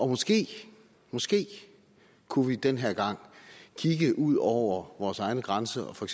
måske måske kunne vi den her gang kigge ud over vores egen grænse og for